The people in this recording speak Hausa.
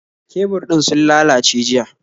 Kebur din sun lallace jiya